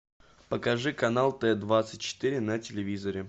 покажи канал т двадцать четыре на телевизоре